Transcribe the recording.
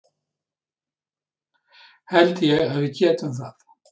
Held ég að við getum það?